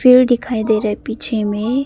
पेड़ दिखाई दे रहा पीछे में।